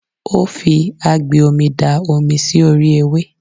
Ó fi agbè omi da omi sí orí ewé.